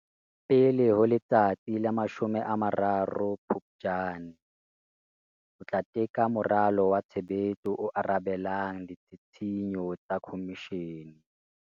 Pele ho letsatsi la 30 Phuptjane, o tla teka moralo wa tshebetso o arabelang ditshisinyo tsa Khomishene.